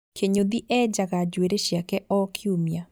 Kĩnyũthi enjaga njuĩrĩ ciake o kiumia